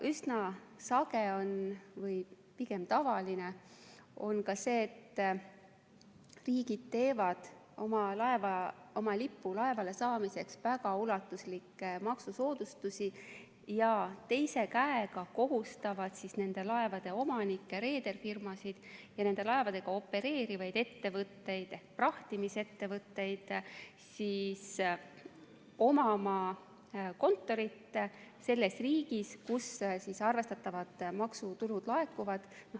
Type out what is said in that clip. Üsna sage või pigem tavaline on ka see, et riigid teevad oma lipu laevale saamiseks väga ulatuslikke maksusoodustusi ja teise käega kohustavad nende laevade omanikke, reederfirmasid, ja nende laevadega opereerivaid ettevõtteid, prahtimisettevõtteid, omama kontorit selles riigis, kus arvestatavad maksutulud laekuvad.